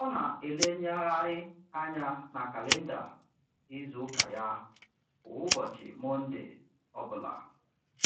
Ọ na-elenyegharị anya na kalịnda izuụka ya kwa ụbọchị Mọnde ọbụla